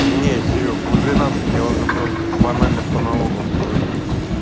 не серёг в двенадцать я уже просто банально по налогам не вывезу